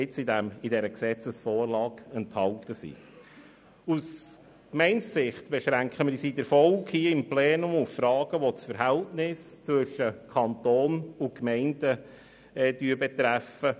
Wir beschränken uns aus Gemeindesicht in der Folge auf Fragen, die das Verhältnis zwischen Kanton und Gemeinden betreffen;